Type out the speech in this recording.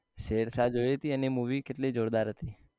શેરશાહ જોઈ હતી એની movie કેટલી જોરદાર હતી